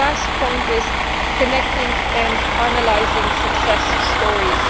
My last point is connecting and analysing success stories.